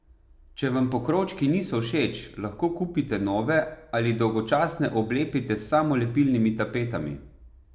Če vam pokrovčki niso všeč, lahko kupite nove ali dolgočasne oblepite s samolepilnimi tapetami.